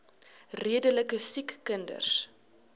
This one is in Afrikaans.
redelike siek kinders